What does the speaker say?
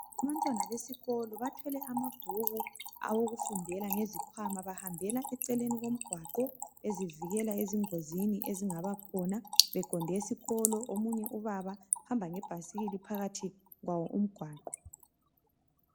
Abantwana besikolo bathwele amabhuku awokufundela ngezikhwama bahambela eceleni komgwaqo bezivikela ezingozini ezingaba khona beqonde esikolo. Omunye ubaba uhamba ngebhasikili phakathi kwawo umgwaqo.